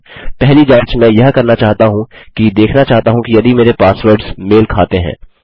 पहली जाँच मैं यह करना चाहता हूँ कि देखना चाहता हूँ यदि मेरे पासवर्ड्स मेल खाते हैं